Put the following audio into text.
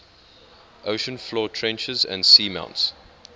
ocean floor trenches and seamounts